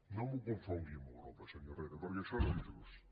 no m’ho confongui amb europa senyor herrera perquè això no és just